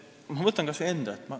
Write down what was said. Ma võtan kas või enda.